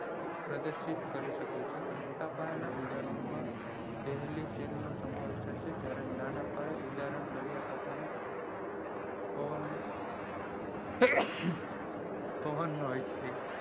પ્રદર્શિત કરી શકે છે મોટા પાયાના ઉદાહરણો માં પેહલી શેલ નો સમાવેશ થાય છે જયારે નાના પાયે ઉદાહરણ માં દરિયા કાંઠે ના પવન નો